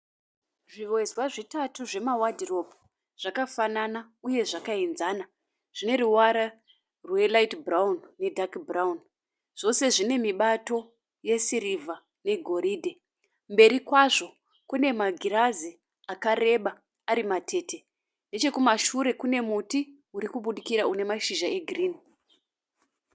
Zviwezwa zvitatu zvema wadhiropu zvakafanana uye zvakaenzana zvine ruvara rwerayiti bhurawuni nedhaki bhurawuni. Zvose zvine mibato yesiriva negoridhe mberi kwazvo kune magirazi akareba ari matete. Nechekumashure kune muti uri kubudikira une mashizha e girini.